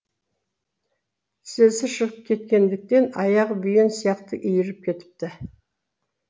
тізесі шығып кеткендіктен аяғы бүйен сияқты иіріп кетіпті